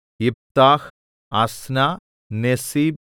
യിപ്താഹ് Ashnah Nezib